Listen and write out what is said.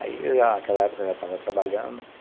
Aí, naquela época, eu já estava trabalhando.